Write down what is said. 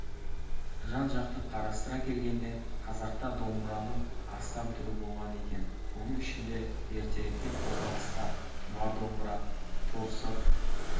жан-жақты қарастыра келгенде қазақта домбыраның астам түрі болған екен соның ішінде ертеректе қолданыста тұмар домбыра торсық